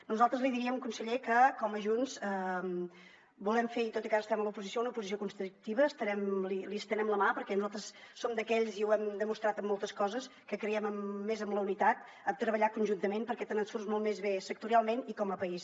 nosaltres li diríem conseller que com a junts volem fer tot i que ara estem a l’oposició una oposició constructiva li estenem la mà perquè nosaltres som d’aquells i ho hem demostrat en moltes coses que creiem més en la unitat en treballar conjuntament perquè te’n surts molt més bé sectorialment i com a país